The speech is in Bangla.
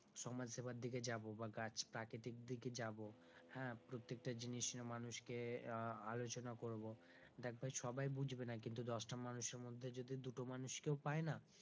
সমাজসেবার দিকে যাব বা গাছ প্রাকৃতিক দিকে যাব হ্যাঁ প্রত্যেকটা জিনিস মানুষকে আহ আলোচনা করব দেখ ভাই সবাই বুঝবে না কিন্তু দশটা মানুষের মধ্যে যদি দুটো মানুষ কেও পাই না,